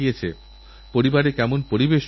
দেশে একটাদেশভক্তির পরিবেশ গড়ে তুলুন